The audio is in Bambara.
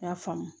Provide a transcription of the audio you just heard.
I y'a faamu